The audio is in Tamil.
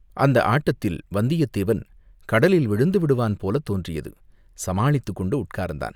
அந்த ஆட்டத்தில் வந்தியத்தேவன் கடலில் விழுந்து விடுவான் போலத் தோன்றியது, சமாளித்துக்கொண்டு உட்கார்ந்தான்.